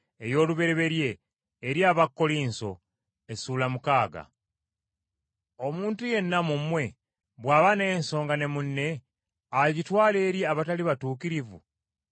Omuntu yenna mu mmwe bw’aba n’ensonga ne munne, agitwala eri abatali batuukirivu oba eri abatukuvu?